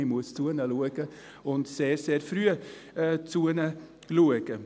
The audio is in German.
Man muss sich um sie kümmern und sich sehr, sehr früh um sie kümmern.